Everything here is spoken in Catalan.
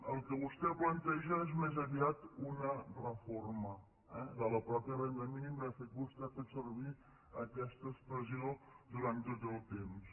el que vostè planteja és més aviat una reforma eh de la mateixa renda mínima de fet vostè ha fet servir aquesta expressió durant tot el temps